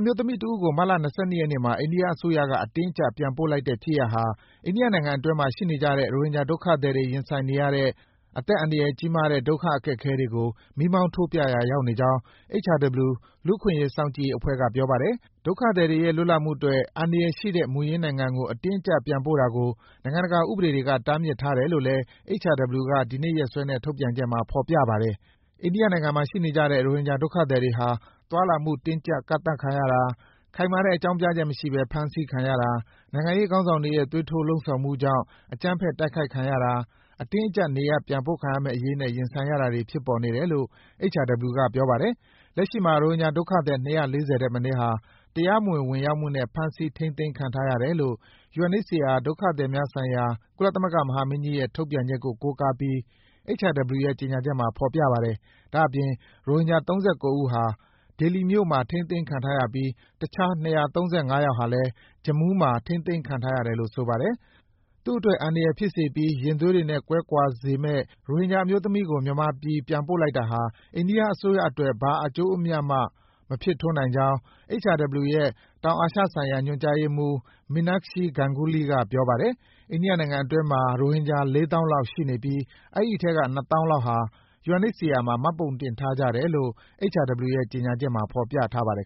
မျိုးသမီးတဦးကို မတ်လ ၂၂ ရက်နေ့မှာ အိန္ဒိယအစိုးရက အတင်းအကျပ် ပြန်ပို့လိုက်တဲ့ဖြစ်ရပ်ဟာ အိန္ဒိယနိုင်ငံတွင်းမှာ ရှိနေကြတဲ့ ရိုဟင်ဂျာဒုက္ခသည်တွေ ရင်ဆိုင်နေရတဲ့ အသက်အန္တရာယ်ကြီးမားတဲ့ ဒုက္ခအခက်အခဲတွေကို မီးမောင်းထိုးပြရာ ရောက်နေကြောင်း HRW လူ့အခွင့်အရေး စောင့်ကြည့်ရေးအဖွဲ့က ပြောပါတယ်။ ဒုက္ခသည်တွေရဲ့ လွတ်လပ်မှုအတွက် အန္တရာယ်ရှိတဲ့ မူရင်းနိုင်ငံကို အတင်းအကျပ်ပြန်ပို့တာကို နိုင်ငံတကာဥပဒေတွေက တားမြစ်ထားတယ်လို့ HRW က ဒီကနေ့ရက်စွဲနဲ့ထုတ်ပြန်တဲ့ ကြေညာချက်မှာ ဖော်ပြထားပါတယ်။ အိန္ဒိယနိုင်ငံမှာရှိနေကြတဲ့ ရိုဟင်ဂျာဒုက္ခသည်တွေဟာ သွားလာမှု တင်းကြပ် ကန့်သတ်ခံရတာ၊ ခိုင်မာတဲ့ အကြောင်းပြချက်မရှိဘဲ ဖမ်းဆီးခံရတာ၊ နိုင်ငံရေးခေါင်းဆောင်တွေရဲ့ သွေးထိုးလှုံ့ဆော်မှုကြောင့် အကြမ်းဖက် တိုက်ခိုက်ခံရတာ၊ အတင်းအကျပ် နေရပ်ပြန်ပို့ခံရမယ့်အရေးနဲ့ ရင်ဆိုင်တာတွေ ဖြစ်နေတယ်လို့ HRW ပြောပါတယ်။ လက်ရှိမှာ ရိုဟင်ဂျာဒုက္ခသည် ၂၄၀ ထက်မနည်းဟာ တရားမဝင် ဝင်ရောက်မှုနဲ့ ဖမ်းဆီး ထိန်းသိမ်းခံထားရတယ်လို့ UNHCR ဒုက္ခသည်များဆိုင်ရာ ကုလသမဂ္ဂမဟာမင်းကြီးရဲ့ ထုတ်ပြန်ချက်ကို ကိုးကားပြီး HRW ရဲ့ ကြေညာချက်မှာ ဖော်ပြထားပါတယ်။ ဒါ့အပြင် ရိုဟင်ဂျာ ၃၉ ဦးဟာ ဒေလီမြို့မှာ ထိန်းသိမ်းခံထားရပြီး တခြား ၂၃၅ ယောက်ဟာလည်း Jammu မှာ ထိန်းသိမ်းခံထား ရတယ်လို့ ဆိုပါတယ်။ သူ့အတွက် အန္တရာယ်ဖြစ်စေပြီး ရင်သွေးတွေနဲ့ ကွဲကွာစေမယ့် ရိုဟင်ဂျာအမျိုးသမီးကို အခုလို မြန်ပြည်ပြန်ပို့လိုက်တာက အိန္ဒိယ အစိုးရအတွက် ဘာမှ အကျိုးအမြတ် မဖြစ်ထွန်းနိုင်ကြောင်း HRW ရဲ့ တောင်အာရှဆိုင်ရာ ညွန်ကြားရေးမှုး Meenakshi Ganguly က ပြောပါတယ်။ အိန္ဒိယနိုင်ငံအတွင်းမှာ ရိုဟင်ဂျာ ၄၀,၀၀၀ လောက်ရှိနေပြီး အဲဒီအထဲက ၂၀,၀၀၀ လောက်ဟာ UNHCR မှာ မှတ်ပုံတင်ထားကြ တယ်လို့ HRW ရဲ့ ကြေညာချက်မှာ ဖော်ပြထားပါတယ်